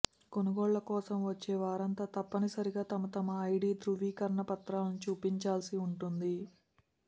కొనుగోళ్ల కోసం వచ్చే వారంతా తప్పనిసరిగా తమతమ ఐడీ ధ్రువీకరణ పత్రాలను చూపించాల్సి ఉంటుంది